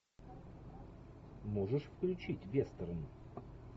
можешь включить вестерн